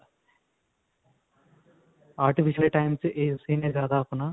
artificial ਦੇ time ਵਿੱਚ ਇਸੀ ਨੇ ਜਿਆਦਾ ਆਪਣਾ